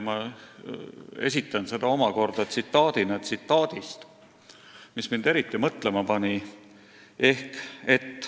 Ma esitan selle omakorda tsitaadina tsitaadist, mis mind eriti mõtlema pani.